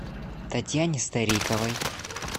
татьяне стариковой